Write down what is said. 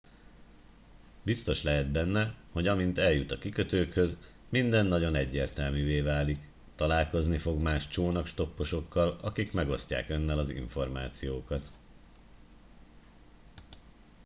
biztos lehet benne hogy amint eljut a kikötőkhöz minden nagyon egyértelművé válik találkozni fog más csónakstopposokkal akik megosztják önnel az információkat